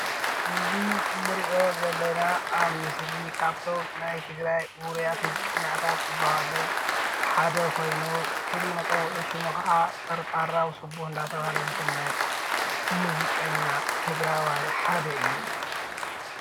እዚ እንሪኦ ዘለና አብ ምስሊ ካብ እቶም ናይ ትግራይ ውርያት ሙዚቀኛታት ዝበሃሉ ሓደ ኮይኑ፤ ፍሉይ መፀውዒ ሽሙ ከአ ጠርጣራው ስቡህ እናተብሃለ ዝፍለጥ ሙዚቀኛ ትግራዋይ ሓደ እዩ፡፡